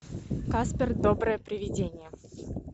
каспер доброе привидение